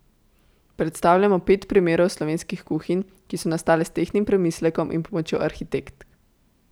Predstavljamo pet primerov slovenskih kuhinj, ki so nastale s tehtnim premislekom in pomočjo arhitektk.